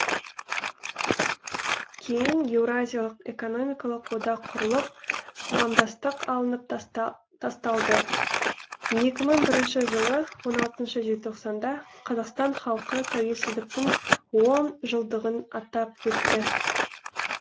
кейін еуразиялық экономикалық одақ құрылып қоғамдастық алынып тасталды екі мың бірінші жылы он алтыншы желтоқсанда қазақстан халқы тәуелсіздіктің он жылдығын атап өтті